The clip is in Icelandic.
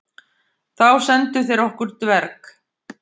Þá sendu þeir okkur dverg.